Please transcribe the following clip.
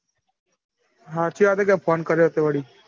સાચી વાત હે કે phone કર્યો તે વડી.